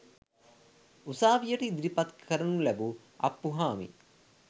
උසාවියට ඉදිරිපත් කරනු ලැබූ අප්පුහාමි